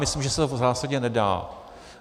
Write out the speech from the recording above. Myslím, že se to v zásadě nedá.